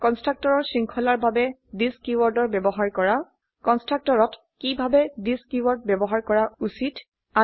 কন্সট্ৰকটৰৰ শৃঙ্খলাৰ বাবে থিচ কীওয়াৰ্ডৰ ব্যবহাৰ কৰা কন্সট্ৰকটৰত কিভাবে থিচ কীওয়াৰ্ড ব্যবহাৰ কৰা উচিত